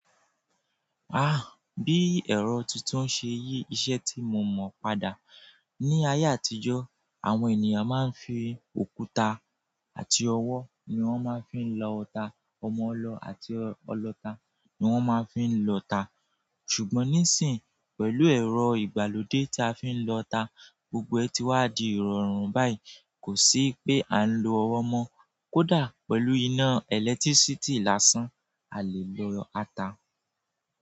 Ah! Bí ẹ̀rọ titun ṣe yí iṣẹ́ tí mo mọ̀ padà. Ni ayé àtijọ́, àwọn ènìyàn máa ń fi òkúta àti ọwọ́ ni wọ́n máa ń fi lọ'ta, ọmọ ọlọ àti ọlọta ni wọ́n máa ń fi lọ'ta. Ṣùgbọ́n nísìń, pẹ̀lú ẹ̀rọ ìgbàlódé tí a fi ń lọ'ta, gbogbo ẹ ti wá di ìrọ̀rùn báyìí. Kò sí pé à ń lo ọwọ́ mọ́, kódà pẹ̀lú iná ẹ̀lẹ́tírísítì lásán a lè lọ ata.